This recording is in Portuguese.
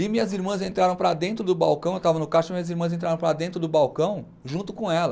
E minhas irmãs entraram para dentro do balcão, eu estava no caixa, e minhas irmãs entraram para dentro do balcão junto com ela.